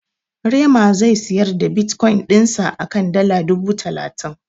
Rema zai siyar da Bitkoyin dinsa a kan dala dubu talatin.